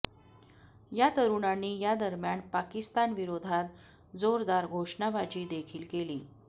या तरुणांनी यादरम्यान पाकिस्तानविरोधात जोरदार घोषणाबाजी देखील केली